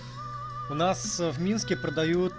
у нас в минске